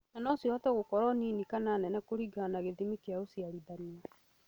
na no cihote gũkorwo nini kana nene kũringana na gĩthimi kĩa ũciarithania